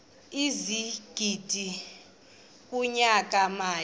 ezigidi kunyaka mali